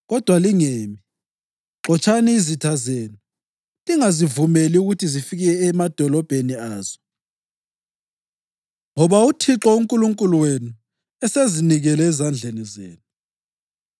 Kodwa lingemi! Xotshani izitha zenu, lingazivumeli ukuthi zifike emadolobheni azo, ngoba uThixo uNkulunkulu wenu esezinikele ezandleni zenu.”